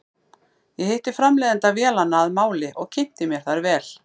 Ég hitti framleiðanda vélanna að máli og kynnti mér þær vel.